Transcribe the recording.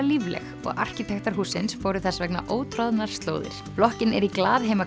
lífleg og arkitektar hússins fóru þess vegna ótroðnar slóðir blokkin er í